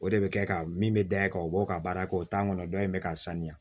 O de bɛ kɛ ka min bɛ da yen ka o ka baara kɛ o t'an kɔnɔ dɔ in bɛ ka sanuya